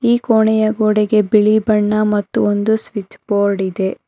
ಈ ಕೋಣೆಯ ಗೋಡೆಗೆ ಬಿಳಿ ಬಣ್ಣ ಮತ್ತು ಒಂದು ಸ್ವಿಚ್ ಬೋರ್ಡ್ ಇದೆ.